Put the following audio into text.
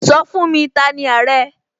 Sọ fún mi!, T'ani Àrẹ?